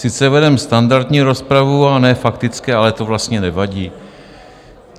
Sice vedeme standardní rozpravu a ne faktické, ale to vlastně nevadí.